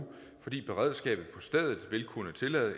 fordi beredskabet på stedet vil kunne tillade